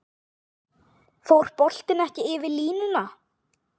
Fór boltinn ekki yfir línuna?